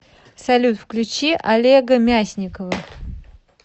салют включи олега мясникова